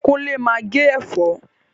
Kúnlé máa ń gé ẹ̀fọ́